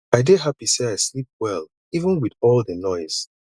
i dey happy say i sleep well even with all the noise